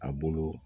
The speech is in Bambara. A bolo